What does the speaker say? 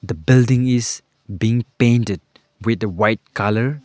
The building is being painted with the white colour.